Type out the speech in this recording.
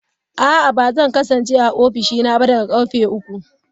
A'a, ba zan kasance a ofishina ba daga karfe uku.